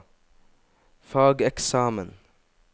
fageksamen